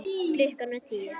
Klukkan var tíu.